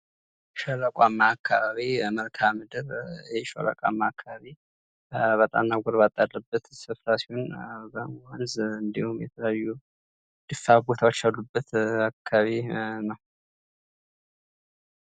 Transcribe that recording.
ሸለቋማ አካባቢ መልክአ ምድር አባጣና ጎርባጣ ያለበት ስፍራ ነው።